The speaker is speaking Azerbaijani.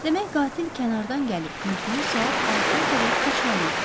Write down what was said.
Demək qatil kənardan gəlib körpünü saat 6-ya qədər keçməli idi.